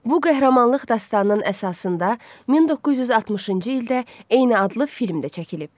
Bu qəhrəmanlıq dastanının əsasında 1960-cı ildə eyni adlı film də çəkilib.